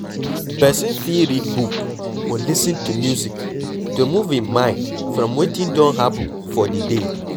Person fit read book or lis ten to music to remove im mind from wetin don happen for di day